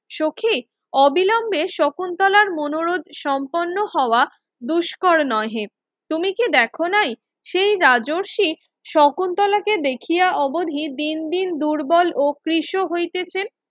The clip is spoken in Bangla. সখি অবিলম্বে শকুন্তলার মনোরোত সম্পুর্ন্ন হওয়া দুস্কর নহে তুমি কি দেখোনাই সেই রাজ্যসী শকুন্তলাকে দেখিয়া অবধি দিন দিন দুর্বল ও পৃষ হইতেছেন